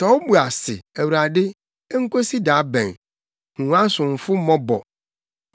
Tɔ wo bo ase, Awurade, enkosi da bɛn? Hu wʼasomfo mmɔbɔ.